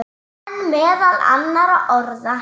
En meðal annarra orða.